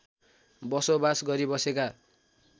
बसोबास गरी बसेका